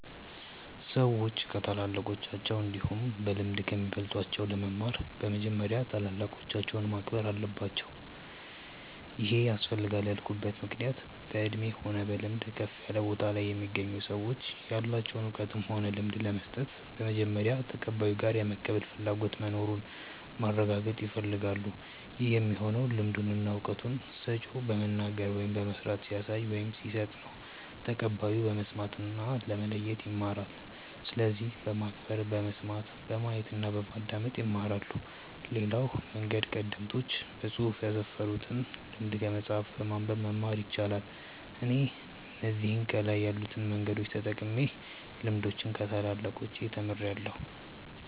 ሰዎች ከታላላቆቻቸው እንዲሁም በልምድ ከሚበልጧቸው ለመማር በመጀመሪያ ታላላቆቻቸውን ማክበር አለባቸው ይሄ ያስፈልጋል ያልኩበት ምክንያት በእድሜ ሆነ በልምድ ከፍ ያለ ቦታ ላይ የሚገኙ ሰዎች ያላቸውን እውቀትም ሆነ ልምድ ለመስጠት በመጀመሪያ ተቀባዩ ጋር የመቀበል ፍላጎቱ መኑሩን ማረጋገጥ ይፈልጋሉ ይህ የሚሆነው ልምዱን እና እውቀቱን ሰጪው በመናገር ወይም በመስራት ሲያሳይ ወይም ሲሰጥ ነው ተቀባዩ በመስማት እና ለማየት ይማራል። ስለዚህ በማክበር በመስማት፣ በማየት እና በማዳመጥ ይማራሉ። ሌላው መንገድ ቀደምቶች በፅሁፍ ያስፈሩትን ልምድ ከመጽሐፍ በማንበብ መማር ይቻላል። እኔ እነዚህ ከላይ ያሉትን መንገዶች ተጠቅሜ ልምዶችን ከታላላቆቻች ተምርያለው።